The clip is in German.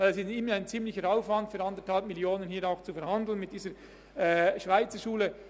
Es ist ein rechter Aufwand, mit der Schweizerschule um die 1,5 Mio. Franken zu verhandeln.